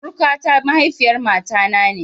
Surukata mahaifiyar mata na ne.